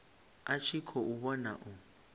a tshi khou vhona u